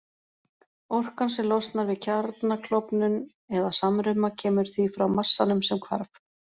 Orkan sem losnar við kjarnaklofnun eða-samruna kemur því frá massanum sem hvarf.